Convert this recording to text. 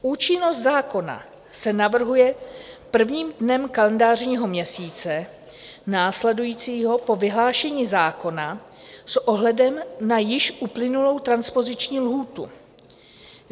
Účinnost zákona se navrhuje prvním dnem kalendářního roku následujícího po vyhlášení zákona s ohledem na již uplynulou transpoziční lhůtu.